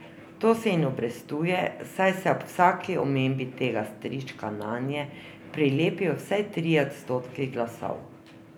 To se jim obrestuje, saj se ob vsaki omembi tega strička nanje prilepijo vsaj trije odstotki glasov.